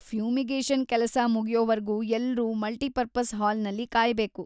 Fumigation ಕೆಲಸ ಮುಗ್ಯೋವರ್ಗೂ ಎಲ್ರೂ ಮಲ್ಟಿಪರ್ಪಸ್‌ ಹಾಲ್ನಲ್ಲಿ ಕಾಯ್ಬೇಕು.